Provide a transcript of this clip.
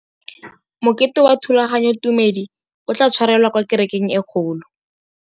Mokete wa thulaganyôtumêdi o tla tshwarelwa kwa kerekeng e kgolo.